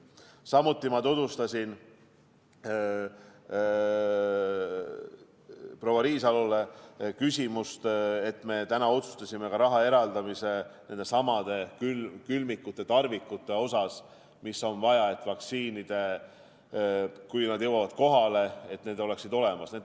Samuti tutvustasin proua Riisalole küsimust, et me täna otsustasime ka raha eraldamise nendesamade külmikute ja tarvikute jaoks, mida on vaja vaktsiinide säilitamiseks, et siis, kui vaktsiinid kohale jõuavad, need oleksid olemas.